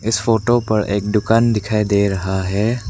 इस फोटो पर एक दुकान दिखाई दे रहा है।